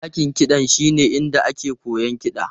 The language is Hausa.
Dakin kiɗa shine inda ake koyon kiɗa.